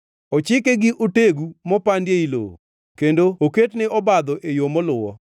Ochike gi otegu mopandi ei lowo kendo oket ne obadho e yo moluwo.